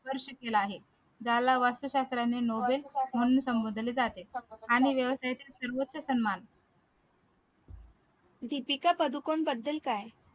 केला आहे ज्याला वास्तुशास्त्राने nobel म्हणून संबोधले जाते आणि व्यवसेतील सन्मान